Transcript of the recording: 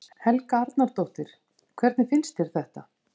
Helga Arnardóttir: Hvernig finnst þér þetta?